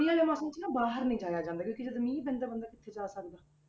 ਮੀਂਹ ਵਾਲੇ ਮੌਸਮ 'ਚ ਨਾ ਬਾਹਰ ਨੀ ਜਾਇਆ ਜਾਂਦਾ ਕਿਉਂਕਿ ਜਦੋਂ ਮੀਂਹ ਪੈਂਦਾ ਬੰਦਾ ਕਿੱਥੇ ਜਾ ਸਕਦਾ।